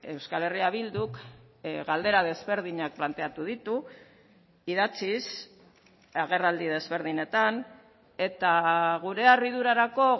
euskal herria bilduk galdera desberdinak planteatu ditu idatziz agerraldi desberdinetan eta gure harridurarako